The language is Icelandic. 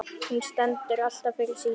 Hún stendur alltaf fyrir sínu.